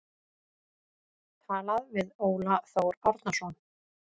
Talað við Óla Þór Árnason.